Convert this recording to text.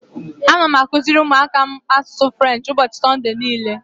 Ana m akụziri ụmụaka m asụsụ French ụbọchị Sọnde niile.